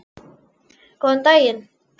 Góðan daginn